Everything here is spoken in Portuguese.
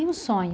E um sonho?